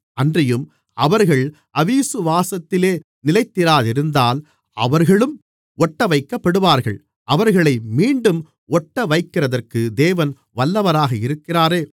அன்றியும் அவர்கள் அவிசுவாசத்திலே நிலைத்திராதிருந்தால் அவர்களும் ஒட்டவைக்கப்படுவார்கள் அவர்களை மீண்டும் ஒட்டவைக்கிறதற்கு தேவன் வல்லவராக இருக்கிறாரே